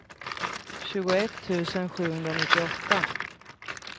tjugoett tusen sjuhundranittioåtta